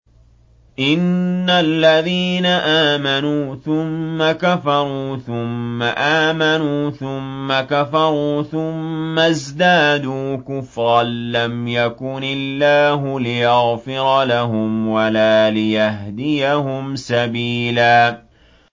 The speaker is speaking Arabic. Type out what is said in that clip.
إِنَّ الَّذِينَ آمَنُوا ثُمَّ كَفَرُوا ثُمَّ آمَنُوا ثُمَّ كَفَرُوا ثُمَّ ازْدَادُوا كُفْرًا لَّمْ يَكُنِ اللَّهُ لِيَغْفِرَ لَهُمْ وَلَا لِيَهْدِيَهُمْ سَبِيلًا